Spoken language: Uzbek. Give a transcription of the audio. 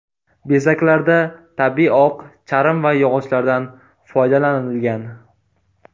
Bezaklarda tabiiy oq charm va yog‘ochlardan foydalanilgan.